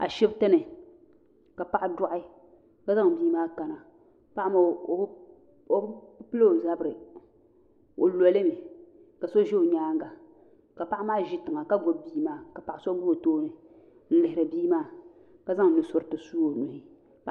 a shɛbitɛni ka paɣ' dogi ka bia maa kani paɣ' maa o be pɛlo o zabiri o lolimi ka so ʒɛ o nyɛŋa ka paɣ' maa ʒɛtiŋa ka gbabi bia maa ka paɣ' so gba o tuuni n lihiri bia maa ka zaŋ nuusuritɛ su o nuu